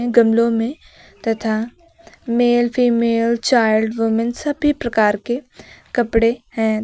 गमलों में तथा मेल फीमेल चाइल्ड वूमेन सभी प्रकार के कपड़े हैं।